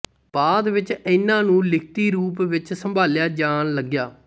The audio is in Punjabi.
ਬਾਅਦ ਵਿੱਚ ਇਹਨਾਂ ਨੂੰ ਲਿਖਤੀ ਰੂਪ ਵਿੱਚ ਸੰਭਾਲਿਆ ਜਾਣ ਲਗਿਆ